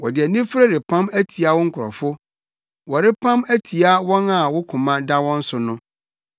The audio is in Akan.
Wɔde anifere repam atia wo nkurɔfo, wɔrepam atia wɔn a wo koma da wɔn so no.